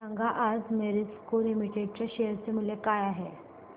सांगा आज मॅरिको लिमिटेड च्या शेअर चे मूल्य काय आहे